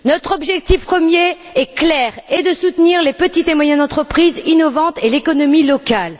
Notre objectif premier est clair soutenir les petites et moyennes entreprises innovantes et l'économie locale.